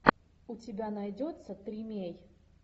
у тебя найдется тримей